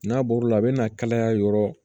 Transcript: N'a bɔr'o la a bɛna kalaya yɔrɔ